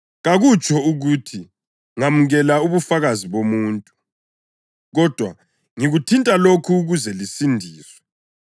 Kakutsho ukuthi ngamukela ubufakazi bomuntu; kodwa ngikuthinta lokhu ukuze lisindiswe.